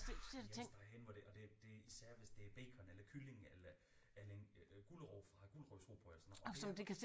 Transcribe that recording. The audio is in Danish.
Nej vi er næsten derhenne hvor det og det det især hvis det er bacon eller kylling eller eller en gulerod fra et gulerodsrugbrød eller sådan noget og det